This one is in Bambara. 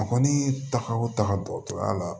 A kɔni taga o taga dɔgɔtɔrɔya la